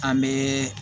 An bɛ